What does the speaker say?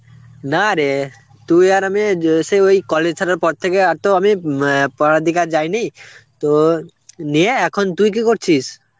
না রে তুই আর আমি যে~ সে ওই college ছাড়ার পর থেকে আর তো আমি উম অ্যাঁ পড়ার দিকে যায়নি. তো, নিয়ে এখন তুই কী করছিস?